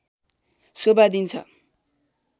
शोभा दिन्छ